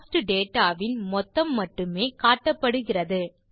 cost data வின் மொத்தம் மட்டுமே காட்டப்படுகிறது